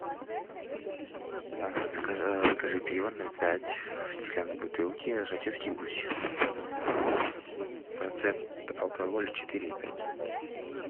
закажи пиво ноль пять в стеклянной бутылке жатецкий гусь процент алкоголя четыре и пять